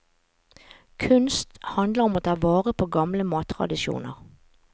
Kunst handler om å ta vare på gamle mattradisjoner.